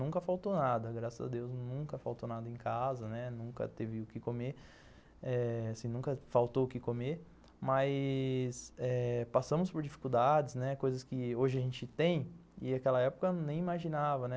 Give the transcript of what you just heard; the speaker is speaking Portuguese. Nunca faltou nada, graças a Deus, nunca faltou nada em casa, né, nunca teve o que comer, eh, assim, nunca faltou o que comer, mas passamos por dificuldades, né, coisas que hoje a gente tem e naquela época nem imaginava, né.